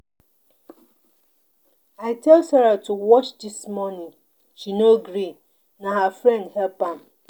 I tell Sara to watch dis morning she no gree na her friend help am.